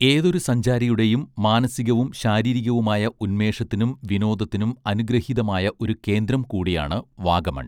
ഏതൊരു സഞ്ചാരിയുടെയും മാനസികവും ശാരീരികവുമായ ഉന്മേഷത്തിനും വിനോദത്തിനും അനുഗൃഹീതമായ ഒരു കേന്ദ്രം കൂടിയാണ് വാഗമൺ